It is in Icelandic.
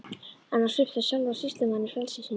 En að svipta sjálfan sýslumanninn frelsi sínu!